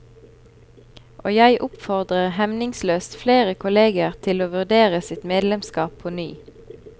Og jeg oppfordrer hemningsløst flere kolleger til å vurdere sitt medlemskap på ny.